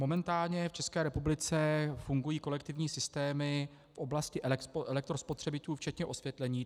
Momentálně v České republice fungují kolektivní systémy v oblasti elektrospotřebičů včetně osvětlení.